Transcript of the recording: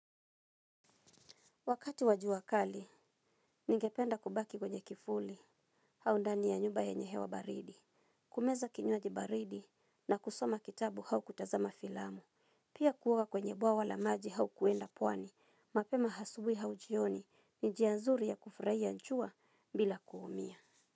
Wakati wa jua kali ningependa kubaki kwenye kivuli au ndani ya nyumba yanye hewa baridi. Kumeza kinywaji baridi na kusoma kitabu au kutazama filamu. Pia kuoga kwenye bwawa la maji au kuenda pwani, mapema asubui au jioni ni njia nzuri ya kufurahia jua bila kuumia.